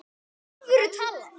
Í alvöru talað?